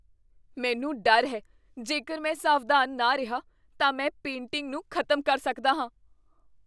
ਮੈਨੂੰ ਡਰ ਹੈ ਜੇਕਰ ਮੈਂ ਸਾਵਧਾਨ ਨਾ ਰਿਹਾ ਤਾਂ ਮੈਂ ਪੇਂਟਿੰਗ ਨੂੰ ਖ਼ਤਮ ਕਰ ਸਕਦਾ ਹਾਂ।